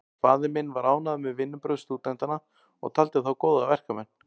Faðir minn var ánægður með vinnubrögð stúdentanna og taldi þá góða verkmenn.